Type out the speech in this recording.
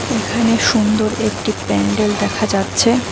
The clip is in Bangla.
এখানে সুন্দর একটি প্যান্ডেল দেখা যাচ্ছে।